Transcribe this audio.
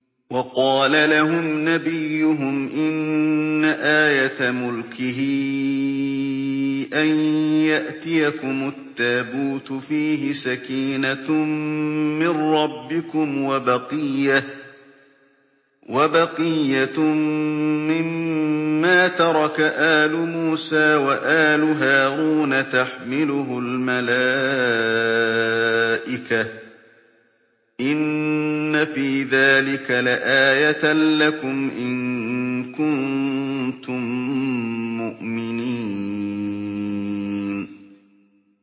وَقَالَ لَهُمْ نَبِيُّهُمْ إِنَّ آيَةَ مُلْكِهِ أَن يَأْتِيَكُمُ التَّابُوتُ فِيهِ سَكِينَةٌ مِّن رَّبِّكُمْ وَبَقِيَّةٌ مِّمَّا تَرَكَ آلُ مُوسَىٰ وَآلُ هَارُونَ تَحْمِلُهُ الْمَلَائِكَةُ ۚ إِنَّ فِي ذَٰلِكَ لَآيَةً لَّكُمْ إِن كُنتُم مُّؤْمِنِينَ